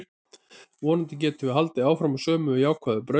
Vonandi getum við haldið áfram á sömu jákvæðu braut.